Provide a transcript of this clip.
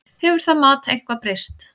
Hefur það mat eitthvað breyst?